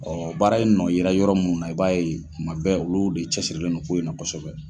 Ɔ baara in nɔ yera yɔrɔ min na, i b'a ye tuma bɛɛ , olu de cɛ sirilen don ko in na kosɛbɛ.